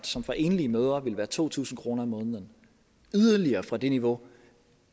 som for enlige mødre ville være to tusind kroner om måneden yderligere væk fra det niveau